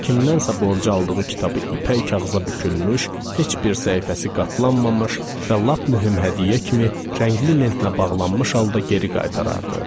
Kimdəsə borc aldığı kitabı ipək kağıza bükülmüş, heç bir səhifəsi qatlanmamış və lap mühüm hədiyyə kimi rəngli lentlə bağlanmış halda geri qaytarardı.